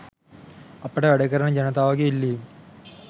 අපට වැඩකරන ජනතාවගේ ඉල්ලීම්